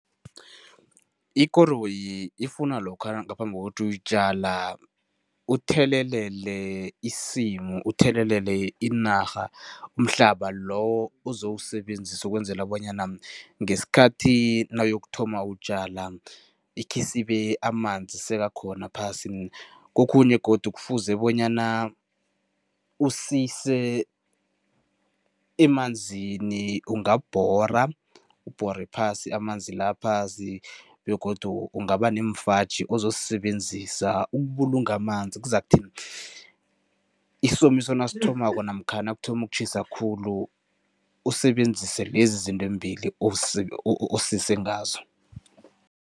Ikoroyi ifuna lokha ngaphambi kokuthi uyitjala, uthelelele isimu, uthelelele inarha, umhlaba lowo ozowusebenzisa ukwenzela bonyana ngesikhathi nawuyokuthoma utjala, ikhisibe amanzi sekakhona phasi. Kokhunye godu kufuze bonyana usise emanzini, ungabhora, ubhore phasi amanzi la phasi begodu ungaba neemfaji ozosisebenzisa ukubulunga amanzi, kuzakuthi isomiso nasithomako namkha nakuthoma ukutjhisa khulu usebenzise lezi zinto embili osise ngazo.